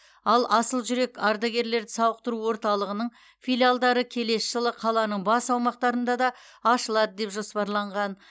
ал асыл жүрек ардагерлерді сауықтыру орталығының филиалдары келесі жылы қаланың басқа аумақтарында да ашылады деп жоспарланған